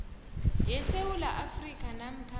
yesewula afrika namkha